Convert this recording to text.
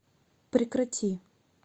прекрати